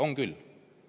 On küll!